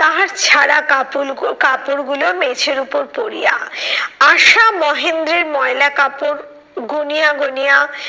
তাহার ছাড়া কাপল কাপড় গুলো মেঝের উপর পড়িয়া। আশা মহেন্দ্রের ময়লা কাপড়, গুনিয়া গুনিয়া